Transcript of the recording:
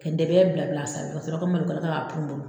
Ka dɛbɛ bila bila a sanfɛ ka sɔrɔ ka malokala ta ka purun purun